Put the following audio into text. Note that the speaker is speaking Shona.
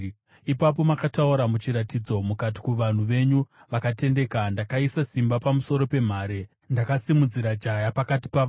Ipapo makataura muchiratidzo, mukati, kuvanhu venyu vakatendeka: “Ndakaisa simba pamusoro pemhare; ndakasimudzira jaya pakati pavanhu.